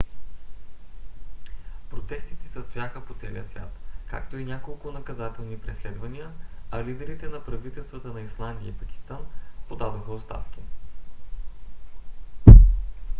протести се състояха по целия свят както и няколко наказателни преследвания а лидерите на правителствата на исландия и пакистан подадоха оставки